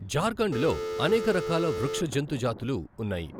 జార్ఖండ్ లో అనేక రకాల వృక్ష, జంతు జాతులు ఉన్నాయి.